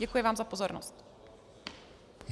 Děkuji vám za pozornost.